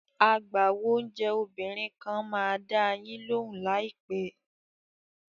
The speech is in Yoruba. Agbáwo oúnjẹ obìnrin kan máa dá a yín lóhùn láìpẹ́.